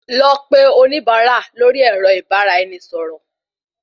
Lọ pe oníbárà lórí èrọ ìbáraẹnisọ̀rọ̀